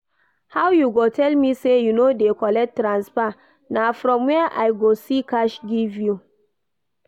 How you go tell me say you no dey collect transfer, na from where I go see cash give you?